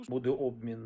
Bu da obmen.